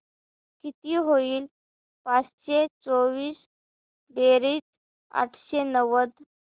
किती होईल पाचशे चोवीस बेरीज आठशे नव्वद